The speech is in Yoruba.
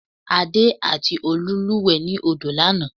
Adé àti Olú lúùwẹ́ ni odo lanàá